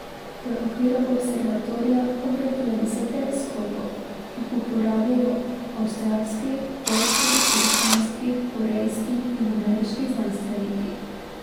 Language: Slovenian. V okviru observatorija obratuje deset teleskopov, ki jih uporabljajo avstralski, poljski, britanski, korejski in ameriški znanstveniki.